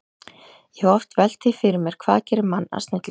Ég hef oft velt því fyrir mér, hvað gerir mann að snillingi.